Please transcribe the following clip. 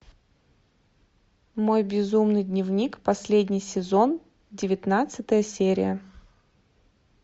мой безумный дневник последний сезон девятнадцатая серия